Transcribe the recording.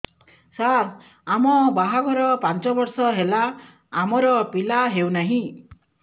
ସାର ଆମ ବାହା ଘର ପାଞ୍ଚ ବର୍ଷ ହେଲା ଆମର ପିଲା ହେଉନାହିଁ